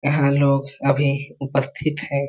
यहाँ लोग अभी उपस्थित है।